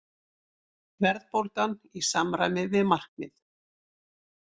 Verðbólgan í samræmi við markmið